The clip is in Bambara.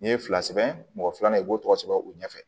N'i ye fila sɛbɛn mɔgɔ filanan i b'o tɔgɔ sɛbɛn u ɲɛfɛ